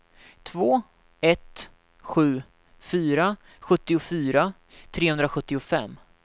två ett sju fyra sjuttiofyra trehundrasjuttiofem